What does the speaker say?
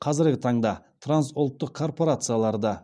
қазіргі таңда трансұлттық корпорацияларда